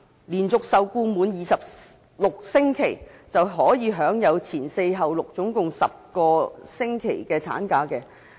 連續受僱滿26星期的女性僱員，便可以享有"前四後六"，共10個星期的產假。